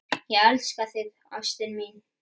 Ég elska þig, ástin mín.